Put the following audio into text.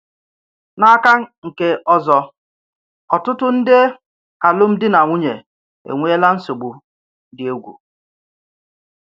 N’aka nke ọzọ ọ tụ̀tù nde alụmdi na nwunye ènwèèlà ǹsọ̀bù dị̀ ègwù.